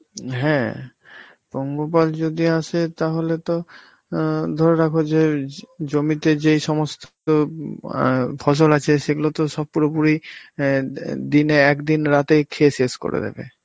হ্যাঁ, পঙ্গপাল যদি আসে তাহলে তো আঁ ধরে রাখো যে জ~ জমিতে যেই সমস্ত উম আঁ ফসল আছে সেইগুলো তো সব পুরোপুরি অ্যাঁ দি~ দিনে একদিন রাতে খেয়ে শেষ করে দেবে,